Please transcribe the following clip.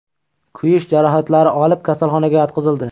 kuyish jarohatlari olib, kasalxonaga yotqizildi.